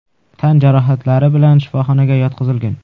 tan jarohatlari bilan shifoxonaga yotqizilgan.